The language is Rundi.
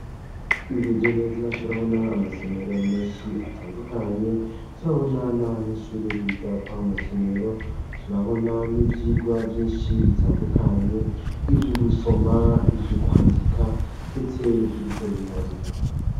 Twihweje neza turabona amasomero menshi atandukanye turabona n'abanyishuri biga kwa masomero turabona n'ivyigwa vyinshi bitandukanye ivyo ugusoma ivyo ukwandika, ndetse n'ivyo ugukora ibiharuro.